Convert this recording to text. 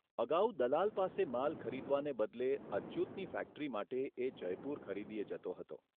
અગાઉ દલાલ પાસે માલ ખરીદવાને બદલે અચ્યુતની ફેક્ટરી માટે એ જયપુર ખરીદીએ જતો હતો.